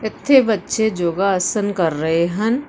ਏਥੇ ਬੱਚੇ ਜੋਗਾ ਆਸਨ ਕਰ ਰਹੇ ਹਨ।